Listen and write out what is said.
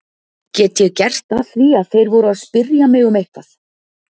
Get ég gert að því að þeir voru að spyrja mig um eitthvað?